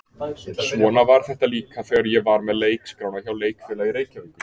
Svona var þetta líka þegar ég var með leikskrána hjá Leikfélagi Reykjavíkur.